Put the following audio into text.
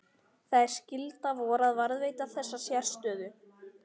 Það er skylda vor að varðveita þessa sérstöðu.